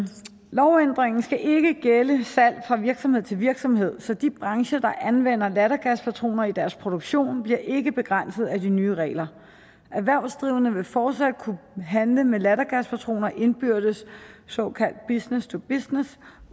lovændringen skal ikke gælde salg fra virksomhed til virksomhed så de brancher der anvender lattergaspatroner i deres produktion bliver ikke begrænset af de nye regler erhvervsdrivende vil fortsat kunne handle med lattergaspatroner indbyrdes såkaldt business til business